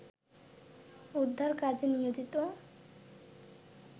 উদ্ধার কাজে নিয়োজিত